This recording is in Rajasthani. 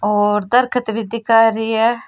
और दरकत भी दिख रही है।